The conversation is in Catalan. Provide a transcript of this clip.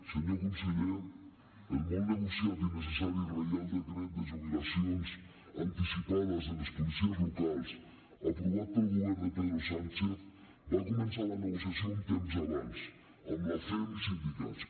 senyor conseller el molt negociat i necessari reial decret de jubilacions anticipades dels policies locals aprovat pel govern de pedro sánchez va començar la negociació un temps abans amb la cem i sindicats